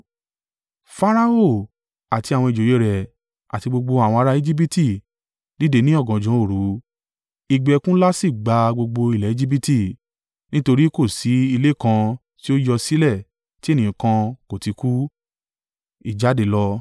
Farao àti àwọn ìjòyè rẹ̀ àti gbogbo àwọn ara Ejibiti dìde ní ọ̀gànjọ́ òru, igbe ẹkún ńlá sì gba gbogbo ilẹ̀ Ejibiti, nítorí kò sí ilé kan tí ó yọ sílẹ̀ tí ènìyàn kan kò ti kú.